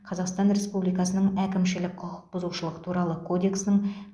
қазақстан республикасының әкімшілік құқық бұзушылық туралы кодексінің